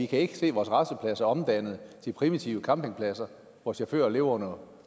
kan se vores rastepladser omdannet til primitive campingpladser hvor chauffører lever under